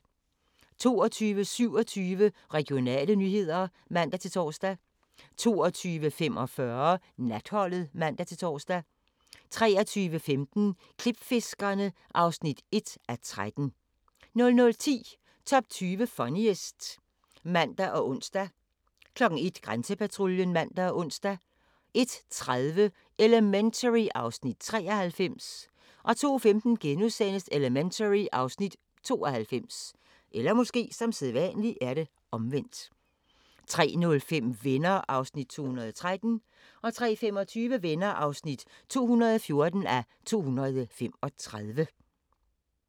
22:27: Regionale nyheder (man-tor) 22:45: Natholdet (man-tor) 23:15: Klipfiskerne (1:13) 00:10: Top 20 Funniest (man og ons) 01:00: Grænsepatruljen (man og ons) 01:30: Elementary (Afs. 93) 02:15: Elementary (Afs. 92)* 03:05: Venner (213:235) 03:25: Venner (214:235)